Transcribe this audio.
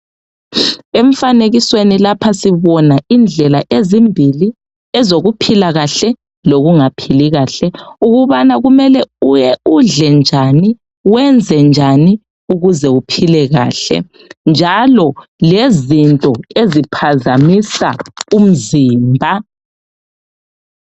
Emfanekisweni lapha sibona indlela ezimbili ezokuphila kahle lokungaphili kahle, ukubana kumele udle njani wenze njani ukuze uphile kahle, njalo lezinto eziphazamisa umzimba.